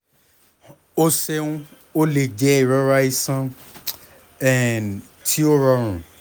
o ṣeun o le jẹ irora iṣan um ti o rọrun